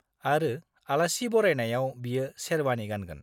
आरो आलासि बरायनायाव बियो शेरवानि गानगोन।